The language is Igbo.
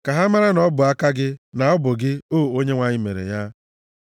Ka ha mara na ọ bụ aka gị, na ọ bụ gị, o Onyenwe anyị, mere ya.